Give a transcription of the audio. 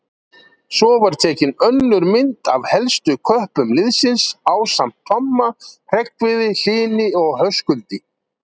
Svo var tekin önnur mynd af helstu köppum liðsins ásamt Tomma, Hreggviði, Hlyni og Höskuldi.